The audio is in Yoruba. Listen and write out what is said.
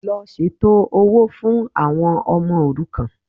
Lọ ṣètò owó fún àwọn ọmọ òrukàn